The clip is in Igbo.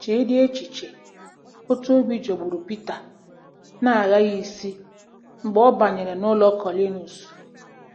Cheedị echiche otú obi jọgburu Pita na-aghaghị isi mgbe ọ banyere n'ụlọ Kọnịliọs.